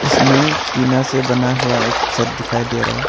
इसमें टीना से बना हुआ एक छत दिखाई दे रहा है।